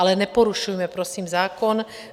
Ale neporušujme prosím zákon.